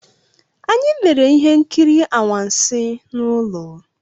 Anyị lere ihe nkiri anwansi n'ụlọ.